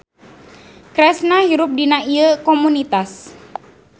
Kresna hirup dina ieu komunitas.